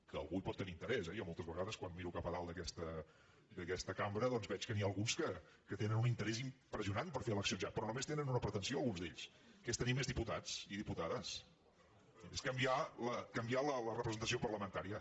que algú hi pot tenir interès eh jo moltes vegades quan miro cap a dalt d’aquesta cambra veig que n’hi ha alguns que tenen un interès impressionant per fer eleccions ja però només tenen una pretensió alguns d’ells que és tenir més diputats i diputades és canviar la representació parlamentària